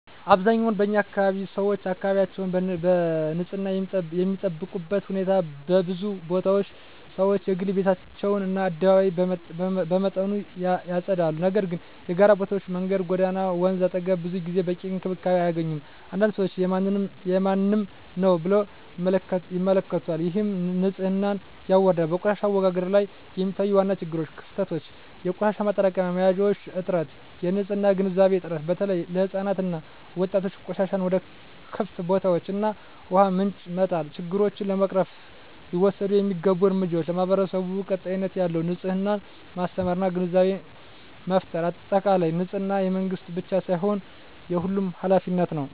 በአብዛኛው በኛ አካባቢ 1️⃣ ሰዎች አካባቢያቸውን በንፅህና የሚጠብቁበት ሁኔታ በብዙ ቦታዎች ሰዎች የግል ቤታቸውን እና አደባባይ በመጠኑ ያጸዳሉ፤ ነገር ግን የጋራ ቦታዎች (መንገድ፣ ጎዳና፣ ወንዝ አጠገብ) ብዙ ጊዜ በቂ እንክብካቤ አያገኙም። አንዳንድ ሰዎች “የማንም ነው” ብለው ይመለከቱታል፣ ይህም ንፅህናን ያዋርዳል። 2, በቆሻሻ አወጋገድ ላይ የሚታዩ ዋና ችግሮች / ክፍተቶች - የቆሻሻ ማጠራቀሚያ መያዣዎች እጥረት -የንፅህና ግንዛቤ እጥረት (በተለይ ለሕፃናት እና ወጣቶች) -ቆሻሻን ወደ ክፍት ቦታዎች እና ውሃ ምንጮች መጣል 3, ችግሮቹን ለመቅረፍ ሊወሰዱ የሚገቡ እርምጃዎች ,ለማህበረሰቡ ቀጣይነት ያለው የንፅህና ማስተማር እና ግንዛቤ ፍጠር በአጠቃላይ፣ ንፅህና የመንግስት ብቻ ሳይሆን የሁሉም ኃላፊነት ነው።